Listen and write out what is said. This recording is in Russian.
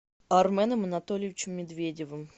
арменом анатольевичем медведевым